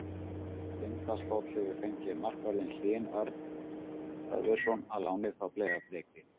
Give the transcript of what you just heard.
Tindastóll hefur fengið markvörðinn Hlyn Örn Hlöðversson á láni frá Breiðabliki.